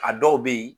A dɔw bɛ yen